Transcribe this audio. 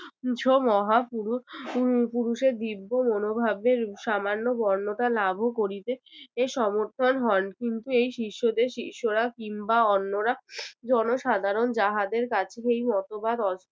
মহাপুরুষ আহ পুরুষের দিব্য মনোভাবের সামান্য বর্ণতা লাভও করিতে এ সমর্থন হোন। কিন্তু এই শিষ্যদের শিষ্যরা কিংবা অন্যরা জনসাধারণ যাহাদের কাছে সেই মতবাদ।